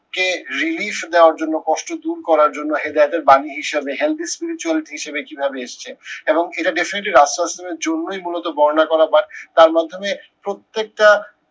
কে relief দেয়ার জন্য কষ্ট দূর করার জন্য হেদায়েদের বাণী হিসেবে healthy spiritual হিসেবে কিভাবে এসেছে এবং এটা definitely জন্যই মূলত বর্ণনা করা বা তার মাধ্যমে প্রত্যেকটা